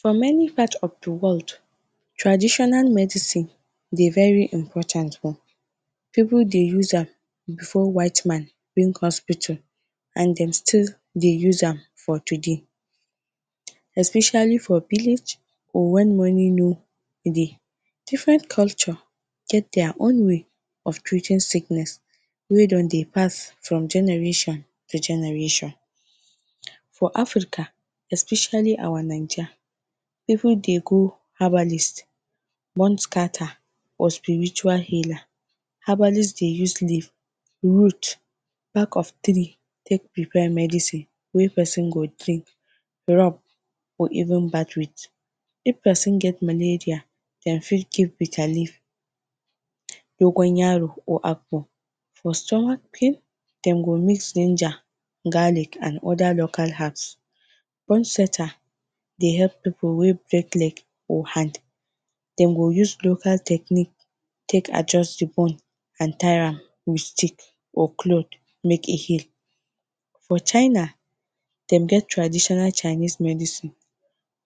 For many part of de world, traditional medicine dey very important, pipu dey use am before white man bring hospital and dem still dey use am for today. Especially for village or when money no dey. Different culture get their own way of treating sickness wey don de pass from generation to generation. for Africa especially our ninja, pipu de go herbalist, moon scatter or spiritual healer, herbalist de use leaf, wood, back of tree take prepare medicine wey person go drink, rub or even bath with. If person get malaria dem fit give bitter leaf, dogo yaro or apple, for stomach pain dem go mix ginger garlic and other local herbs. Bone setter de help pipu wey break leg or hand dem go use local technique take adjust de bone and tire am with stick or cloth make e heal. for china dem get traditional Chinese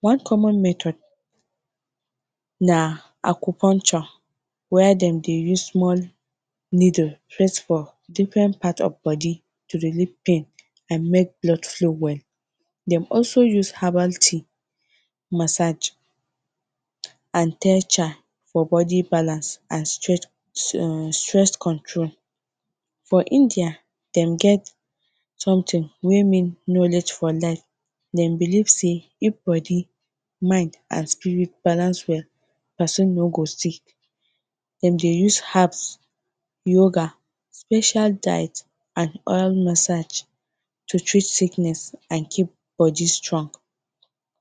one common method na where dem de use small needle press for different part of de body to relief pain and make blood flow well dem also use herbal tea massage and for body balance and stress control. For India dem get something wey mean knowledge for life dem believe sey if body, mind and spirit balance well person no go sick dem dey use herbs, yoga, special diet and oil massage to treat sickness and keep body strong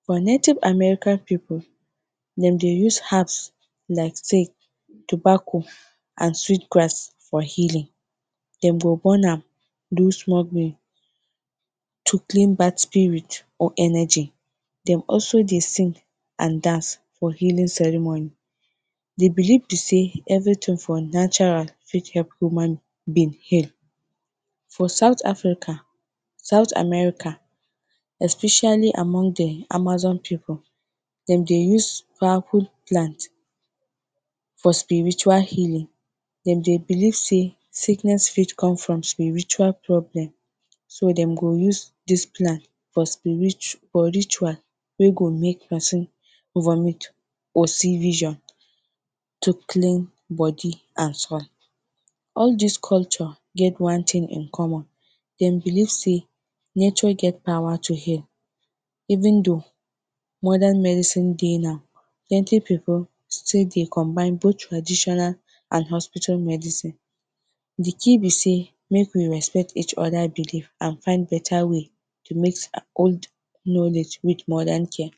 for native American, pipu dem dey use herbs like, tobacco and sweet grass for healing dem go burn am do to clean bad spirit or energy dem also de sing and dance for healing ceremony de believe be sey everything from natural fit help human being heal. For south African, South America, especially among d amazon pipu dem dey us powerful plant for spiritual healing dem dey believe sey sickness fit come from spiritual problem. so dem go use dis plant for ritual wey go make person vomit or see vision to clean body and soul. all these culture get one thing in common dem believe sey nature get power to heal, even though modern medicine de now, plenty pipo still dey combine both traditional and hospital medicine de key be sey make we respect each other believe and find better way to mix old knowledge with modern care.